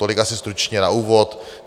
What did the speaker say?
Tolik asi stručně na úvod.